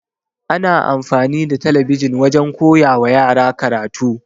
Ana amfani da talabijin wajen koyawa yara karatu.